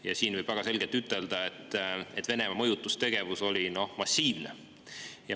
Ja siin võib väga selgelt ütelda, et Venemaa mõjutustegevus oli massiivne.